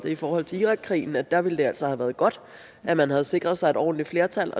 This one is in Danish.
i forhold til irakkrigen at der ville det altså have været godt at man havde sikret sig et ordentligt flertal